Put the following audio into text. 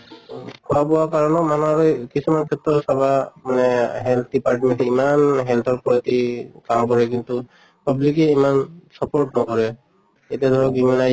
খোৱা বোৱা কাৰণেও মানুহৰ এই কিছুমান ক্ষেত্ৰত চাবা মানে health department য়ে ইমান health ৰ প্ৰতি কাম কৰে কিন্তু public য়ে ইমান support নকৰে। এতিয়া ধৰন immune